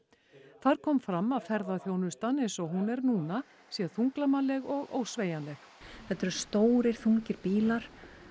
þar kom fram að ferðaþjónustan eins og hún er núna sé þunglamaleg og ósveigjanleg þetta eru stórir þungir bílar